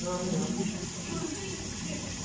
Não, é melhor.